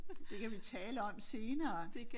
Det kan vi tale om senere